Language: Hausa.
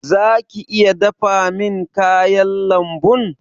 Zaka iya dafa min kayan lambun?